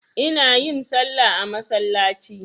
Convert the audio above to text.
Ina yin salla a masallaci.